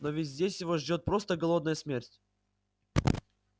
но ведь здесь его ждёт просто голодная смерть